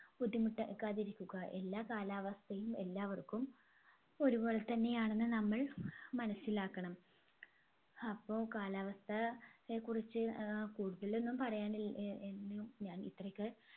ബുദ്ധിമുട്ടാകാതിരിക്കുക എല്ലാ കാലാവസ്ഥയും എല്ലാവർക്കും ഒരുപോലെ തന്നെയാണെന്ന് നമ്മൾ മനസ്സിലാക്കണം അപ്പോ കാലാവസ്ഥ യെ കുറിച്ച് ഏർ കൂടുതലൊന്നും പറയാനില്ല എന്നും ഞാൻ ഇത്രയൊക്കെ